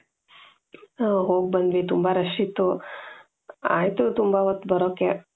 ಹೋಗ್ ಬಂದ್ವಿ ತುಂಬಾ rush ಇತ್ತು ಆಯ್ತು ತುಂಬಾ ಹೊತ್ತು ಬರಕ್ಕೆ .